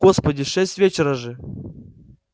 господи шесть вечера же